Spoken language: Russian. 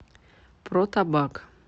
про табак